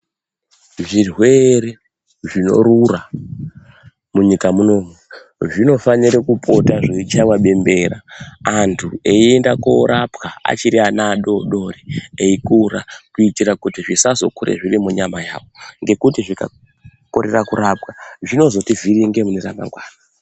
Zvirwere zvinorura kunyika munomu zvinofanira kupota zveichaiwa bembera antu eienda koorapwa achiri adodori eikura kuitira kuti zvisazokure zvirikunyama yawo ngekuti zvikakorera kurapwa zvinozotivhiringa muneramangwana.